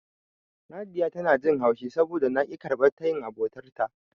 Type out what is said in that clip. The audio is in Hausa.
Nadiya tana jin haushi saboda na ƙi karɓar tayin abotarta.